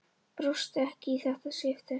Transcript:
Brosti ekki í þetta skipti.